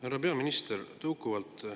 Härra peaminister!